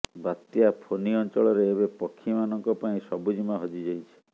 ବାତ୍ୟା ଫୋନି ଅଞ୍ଚଳରେ ଏବେ ପକ୍ଷୀମାନଙ୍କ ପାଇଁ ସବୁଜିମା ହଜିଯାଇଛି